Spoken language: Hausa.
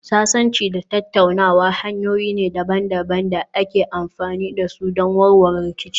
Sasanci da tattaunawa hanyoyi ne daban-daban da ake amfani da su don warware rikici.